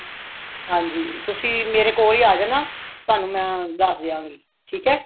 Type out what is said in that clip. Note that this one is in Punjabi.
ਹਾਂਜੀ ਤੁਸੀਂ ਮੇਰੇ ਕੋਲ ਹੀ ਆ ਜਾਣਾ ਤੁਹਾਨੂੰ ਮੈਂ ਦੱਸ ਦਿਆਂਗੀ ਠੀਕ ਏ